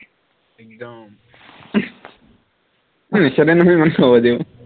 একদম নেখেদে নহয় ইমান সহজেও